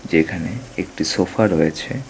এখানে একটি সোফা রয়েছে।